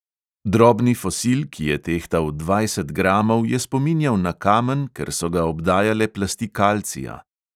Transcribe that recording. Drobni fosil, ki je tehtal dvajset gramov, je spominjal na kamen, ker so ga obdajale plasti kalcija.